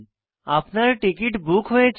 আপনার ticket book হয়েছে